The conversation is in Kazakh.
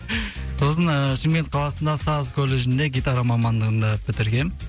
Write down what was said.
сосын ыыы шымкент қаласында саз колледжінде гитара мамандығында бітіргем